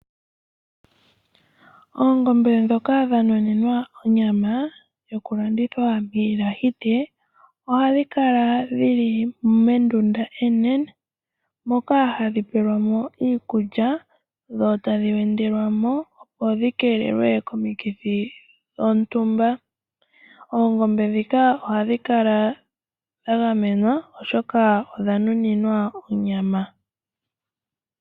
Oongombe dhoka dhanuninwa onyama yokulandithwa miilahite ohadhikala dhili mondunda onene moka hadhi pelwamo iikulya dho tadhi wendelwamo opo dhikelelwe komikithi dhontumba. Oongombe dhika ohadhi kala dhagamenwa oshoka odha nuninwa onyama.